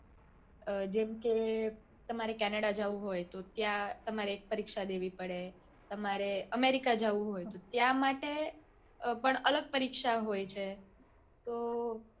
જેમ કે તમારે canada જાઉં હોય તો ત્યાં તમારે એક પરીક્ષા દેવી પડે તમારે america જાઉં હોય તો ત્યાં માટે પણ અલગ પરીક્ષા હોય છે તો